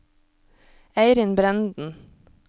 Eirin Brenden